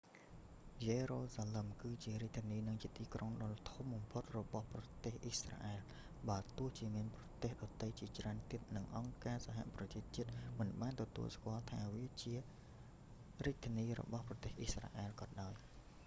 យេរូសាឡឹម គឺជារាជធានី និងជាទីក្រុងដ៏ធំបំផុតរបស់ប្រទេសអ៊ីស្រាអែល បើទោះជាមានប្រទេសដទៃជាច្រើនទៀត និងអង្គការសហប្រជាជាតិមិនបានទទួលស្គាល់វាថា ជារាជធានីរបស់ប្រទេស អ៊ីស្រាអែលក៏ដោយ